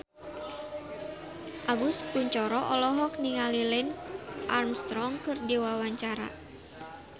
Agus Kuncoro olohok ningali Lance Armstrong keur diwawancara